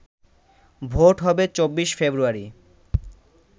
vote হবে ২৪ ফেব্রুয়ারি